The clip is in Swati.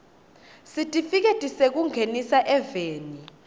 sitifiketi sekungenisa eveni